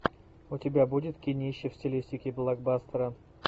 у тебя будет кинище в стилистике блокбастера